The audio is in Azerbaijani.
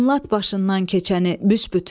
Anlat başından keçəni büsbütün.